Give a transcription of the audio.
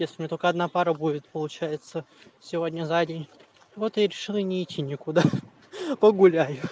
если у меня только одна пара будет получается сегодня за день вот и решила не идти некуда погуляю